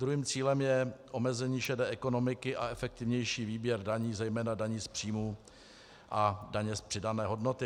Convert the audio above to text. Druhým cílem je omezení šedé ekonomiky a efektivnější výběr daní, zejména daní z příjmů a daně z přidané hodnoty.